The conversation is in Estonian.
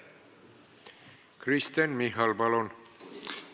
Kristen Michal, palun!